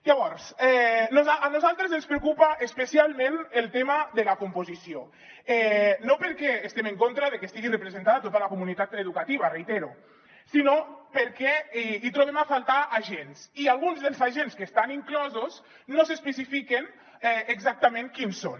llavors a nosaltres ens preocupa especialment el tema de la composició no perquè estiguem en contra de que hi estigui representada tota la comunitat educativa ho reitero sinó perquè hi trobem a faltar agents i alguns dels agents que hi estan inclosos no s’especifiquen exactament quins són